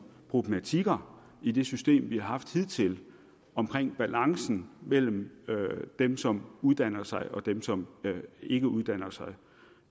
problematikker i det system vi har haft hidtil omkring balancen mellem dem som uddanner sig og dem som ikke uddanner sig det